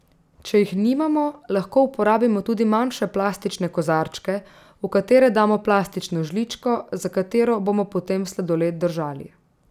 Če jih nimamo, lahko uporabimo tudi manjše plastične kozarčke, v katere damo plastično žličko, za katero bomo potem sladoled držali.